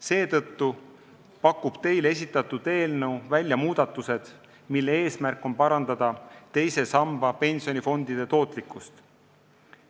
Seetõttu pakub teile esitatud eelnõu muudatusi, mille eesmärk on parandada teise samba pensionifondide tootlikkust.